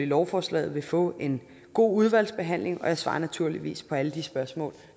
lovforslaget vil få en god udvalgsbehandling og jeg svarer naturligvis på alle de spørgsmål